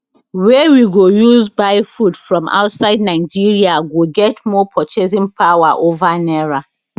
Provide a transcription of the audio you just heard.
wey we go use buy food from outside nigeria go get more purchasing power over naira